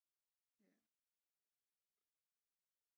Ja